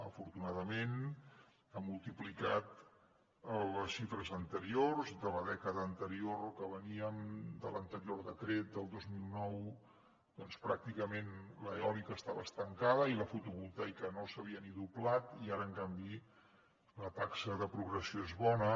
afortunadament ha multiplicat les xifres anteriors de la dècada anterior que veníem de l’anterior decret del dos mil nou doncs pràcticament l’eòlica estava estancada i la fotovoltaica no s’havia ni doblat i ara en canvi la taxa de progressió és bona